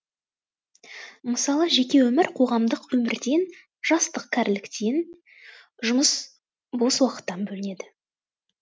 мысалы жеке өмір қоғамдық өмірден жастық кәріліктен жұмыс бос уақыттан бөлінеді